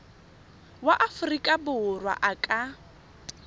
wa aforika borwa a ka